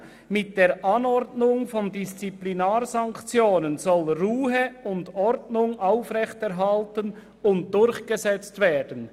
«Mit der Anordnung von Disziplinarsanktionen soll Ruhe und Ordnung aufrechterhalten und durchgesetzt werden.